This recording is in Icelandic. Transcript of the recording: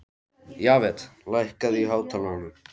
Jafet, lækkaðu í hátalaranum.